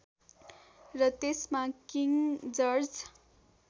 र त्यसमा king George